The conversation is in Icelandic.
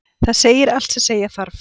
Það segir allt sem segja þarf.